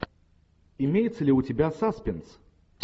имеется ли у тебя саспенс